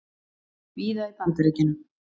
víða í Bandaríkjunum.